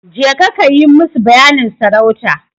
Jeka kayi musu bayanin sarauta.